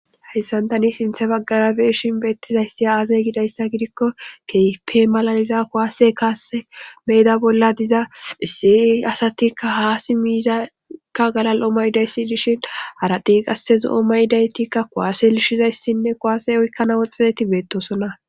Hayssan tani sinthe baggara beeshin beettizayssi aazey gidayssa gidikko keyfe malaliza kowaase kaase meeda bolla diza isse asatikka haasi miizakka galal7o maydayssi dishin aradi qasse zo7o mayidaytikka kowaase lishshizayssinne kowaase oykkana woxxedeti beettosona.